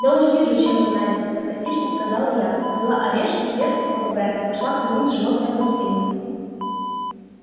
да уж вижу чем вы заняты саркастично сказала я взяла орешки клетку с попугаем и пошла кормить животное в гостиную